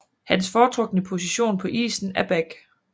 Hans foretrukne position på isen er back